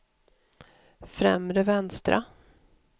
främre vänstra